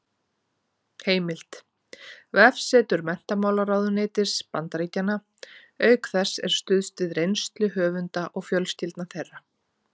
Heimild: Vefsetur menntamálaráðuneytis Bandaríkjanna Auk þess er stuðst við eigin reynslu höfunda og fjölskyldna þeirra.